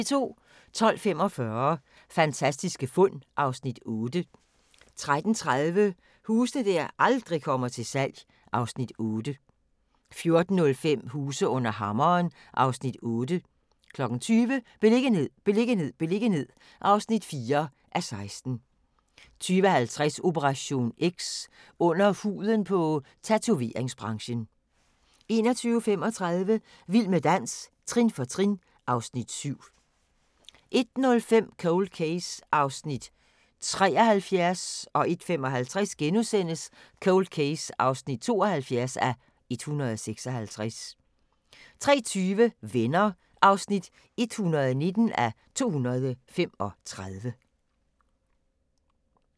12:45: Fantastiske fund (Afs. 8) 13:30: Huse der aldrig kommer til salg (Afs. 8) 14:05: Huse under hammeren (Afs. 8) 20:00: Beliggenhed, beliggenhed, beliggenhed (4:16) 20:50: Operation X: Under huden på tatoveringsbranchen 21:35: Vild med dans – trin for trin (Afs. 7) 01:05: Cold Case (73:156) 01:55: Cold Case (72:156)* 03:20: Venner (119:235)